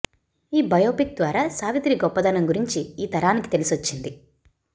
ఈ బయోపిక్ ద్వారా సావిత్రి గొప్పదనం గురించి ఈ తరానికీ తెలిసొచ్చింది